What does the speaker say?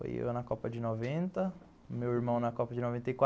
Foi eu na Copa de noventa, meu irmão na Copa de noventa e quatro